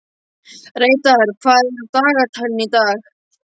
Reidar, hvað er á dagatalinu í dag?